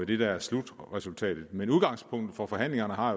det der er slutresultatet men udgangspunktet for forhandlingerne har